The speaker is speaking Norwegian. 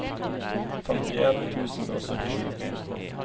femtien tusen og syttisju